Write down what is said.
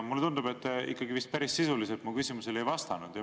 Mulle tundub, et te ikkagi vist päris sisuliselt mu küsimusele ei vastanud.